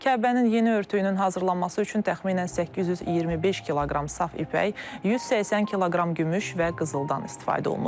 Kəbənin yeni örtüyünün hazırlanması üçün təxminən 825 kq saf ipək, 180 kq gümüş və qızıldan istifadə olunub.